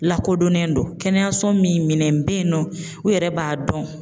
Lakodɔnnen don kɛnɛyaso min minɛn be yen nɔ u yɛrɛ b'a dɔn